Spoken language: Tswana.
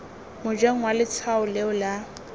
mojeng wa letshwao leo la